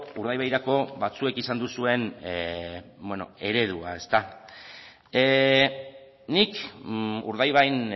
urdaibairako batzuek izan duzuen eredua ezta nik urdaibain